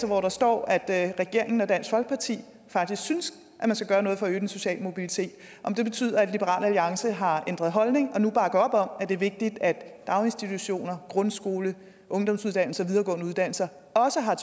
hvor der står at regeringen og dansk folkeparti faktisk synes at man skal gøre noget for at øge den sociale mobilitet om det betyder at liberal alliance har ændret holdning og nu bakker op om at det er vigtigt at daginstitutioner grundskole ungdomsuddannelser og videregående uddannelser også har